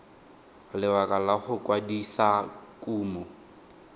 lebaka la go kwadisa kumo